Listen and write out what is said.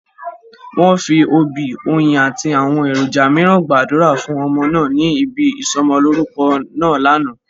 Wọ́n fi òbí, oyin àti àwọn èròjà mìíràn gbàdúrà fún ọmọ náà ní ibi ìsọ'mọlórúkọ náà lánàá